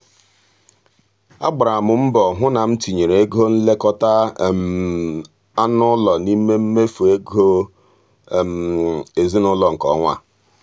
a gbara m mbọ hụ na m tinyere ego nlekọta anụ ụlọ n'ime mmefu ego ezinụụlọ nke ọnwa a.